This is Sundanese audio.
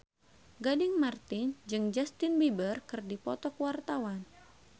Gading Marten jeung Justin Beiber keur dipoto ku wartawan